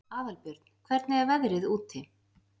Aðalbjörn, hvernig er veðrið úti?